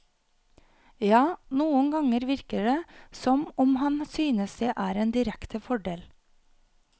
Ja, noen ganger virker det som om han synes det er en direkte fordel.